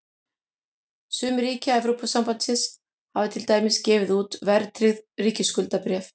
Sum ríkja Evrópusambandsins hafa til dæmis gefið út verðtryggð ríkisskuldabréf.